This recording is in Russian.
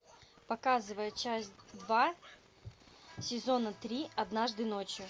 показывай часть два сезона три однажды ночью